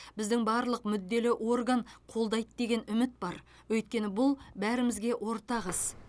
біздің барлық мүдделі орган қолдайды деген үміт бар өйткені бұл бәрімізге ортақ іс